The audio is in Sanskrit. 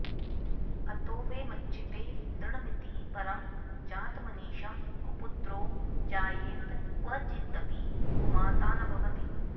अतो वै मच्चित्ते दृढमिति परं जातमनिशं कुपुत्रो जायेत क्वचिदपि कुमाता न भवति